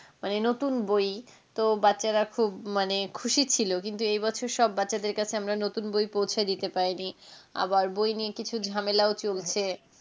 মানে নতুন বই তো বাচ্চারা খুব মানে খুশি ছিল, কিন্তু এই বছর সব বাচ্চাদের কাছে আমরা নতুন বই পৌঁছে দিতে পারেনি আবার বই নিয়ে কিছু ঝামেলাও চলেছে.